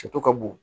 Soto ka bon